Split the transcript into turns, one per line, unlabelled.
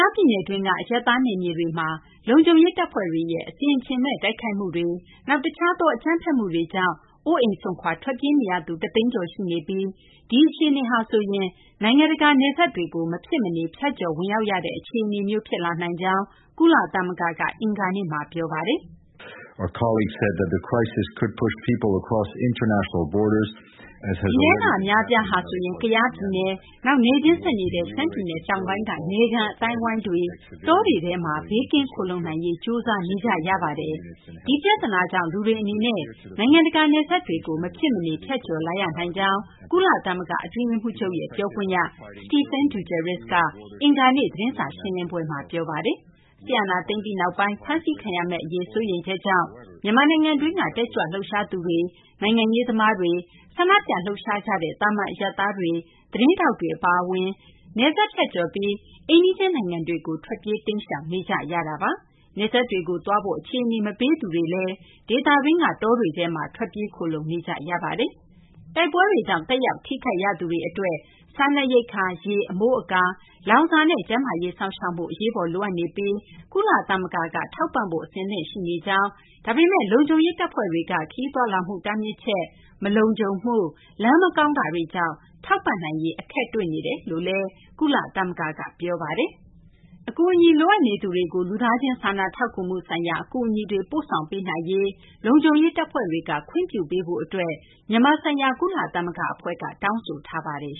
ားပြည်နယ်တွင်းက အရပ်သား နယ်မြေတွေ အတွင်း လုံခြုံရေး တပ်ဖွဲ့တွေရဲ့ အဆင်အခြင်မဲ့ တိုက်ခိုက်မှုတွေ၊ နောက် တခြားသော အကြမ်းဖက်မှုတွေကြောင့် အိုးအိမ်စွန့်ခွာ ထွက်ပြေးနေရသူ ၁ သိန်းကျော် ရှိနေပြီး ဒီအခြေအနေက နိုင်ငံတကာ နယ်စပ်တွေကို မဖြစ်မနေ ဖြတ်ကျော် ဝင်ရောက်ရတဲ့ အခြေအနေမျိုး ဖြစ်လာနိုင်ကြောင်း ကုလသမဂ္ဂက အင်္ဂါနေ့မှာ ပြောပါတယ်။ “ဒီထဲက အများအပြားဟာဆိုရင် ကယားပြည်နယ်၊ နောက် နယ်ချင်းဆက်နေတဲ့ ရှမ်းပြည်နယ်တောင်ပိုင်းက နယ်ခံ အသိုင်းအဝိုင်းတွေ၊ တောတွေထဲမှာ ဘေးကင်းခိုလှုံနိုင်ရေး ကြိုးစားနေကြရပါတယ်။ ဒီပြသနာကြောင့် လူတွေ အနေနဲ့ နိုင်ငံတကာ နယ်စပ်တွေကို မဖြစ်မနေ ဖြတ်ကျော်လာရနိုင်ကြောင်း” ကုလသမဂ္ဂ အတွင်းရေးမှူးချုပ်ရဲ့ ပြောခွင့်ရ Stephane Dujarric က အင်္ဂါနေ့ သတင်းစာ ရှင်းလင်းပွဲမှာ ပြောပါတယ်။ စစ်အာဏာသိမ်းပြီးနောက်ပိုင်း ဖမ်းဆီးခံရမယ့် အရေးစိုးရိမ်ချက်ကြောင့် မြန်မာနိုင်ငံတွင်းက တက်ကြွလှုပ်ရှားသူတွေ၊ နိုင်ငံရေးသမားတွေ၊ ဆန္ဒပြလှုပ်ရှားကြတဲ့ သာမန် အရပ်သားတွေ သတင်းထောက်တွေ အပါအဝင် နယ်စပ် ဖြတ်ကျော်ပြီး အိမ်နီးချင်းနိုင်ငံတွေကို ထွက်ပြေး တိမ်းရှောင်နေကြရတာပါ။ နယ်စပ်တွေကို သွားဖို့ အခြေအနေ မပေးသူတွေလည်း ဒေသတွင်းက တောတွေထဲမှာ ထွက်ပြေးခိုလှုံနေကြရတာပါ။ တိုက်ပွဲတွေကြောင့် သက်ရောက် ထိခိုက်ရသူတွေ အတွက် စားနပ်ရိက္ခာ၊ ရေ၊ အမိုးအကာ၊ လောင်စာနဲ့ ကျန်းမာရေး စောင့်ရှောက်မှု အရေးပေါ် လိုအပ်နေပြီး ကုလသမဂ္ဂက ထောက်ပံ့ဖို့ အဆင့်ရှိနေကြောင်း၊ ဒါပေမယ့်လည်း လုံခြုံရေး တပ်ဖွဲ့တွေက ခရီးသွားလာမှု တားမြစ်ချက်၊ မလုံခြုံမှု၊ လမ်း မကောင်းတာတွေကြောင့် ထောက်ပံ့နိုင်ရေး အခက်တွေ့နေတယ်လို့လည်း ကုလသမဂ္ဂက ပြောပါတယ်။ အကူအညီ လိုအပ်နေသူတွေကို လူသားချင်း စာနာထောက်ကူမှု ဆိုင်ရာ အကူအညီတွေ ပို့ဆောင်ပေးနိုင်ရေး လုံခြုံရေး တပ်ဖွဲ့တွေက ခွင့်ပြုပေးဖို့ အတွက် မြန်မာဆိုင်ရာ ကုလသမဂ္ဂ အဖွဲ့က တောင်းဆိုထားပါတယ်